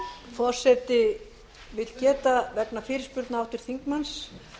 forseti vill geta þess vegna fyrirspurna háttvirts þingmanns